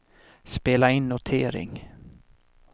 spela in notering